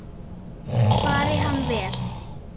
Fari hann vel.